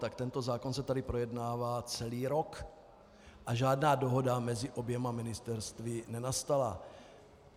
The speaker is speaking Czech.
Tak tento zákon se tady projednává celý rok a žádná dohoda mezi oběma ministerstvy nenastala.